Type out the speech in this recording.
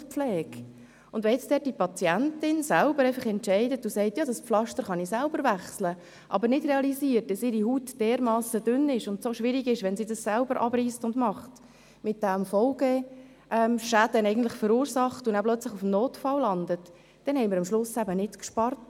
Zum Beispiel eine Wundpflege: Wenn die Patientin entscheidet, sie könne das Pflaster selber wechseln, aber nicht realisiert, dass ihre Haut dermassen dünn ist, dass es schwierig ist, wenn sie es abreisst, und sie damit Folgeschäden verursacht und dann plötzlich auf dem Notfall landet – dann haben wir am Ende nicht gespart.